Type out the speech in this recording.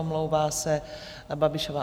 Omlouvá se Babišová